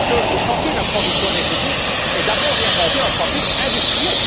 Le chantier de la transition énergétique est d'abord et avant tout un chantier industriel.